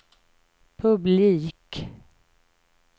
publik